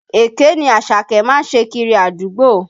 Èké ni Àṣàkẹ́ má ń ṣe kiri àdúgbò